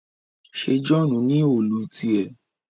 ṣe John ní Òòlù tiẹ